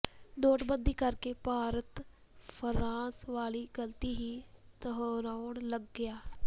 ਨੋਟਬੰਦੀ ਕਰਕੇ ਭਾਰਤ ਫ਼ਰਾਂਸ ਵਾਲੀ ਗਲਤੀ ਹੀ ਦੁਹਰਾਉਣ ਲੱਗਿਆ